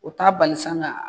O t'a bali san ka